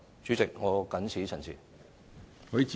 主席，我謹此陳辭。